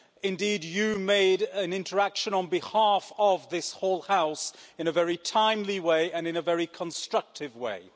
Indeed, you made an interaction on behalf of this whole House in a very timely way and in a very constructive way.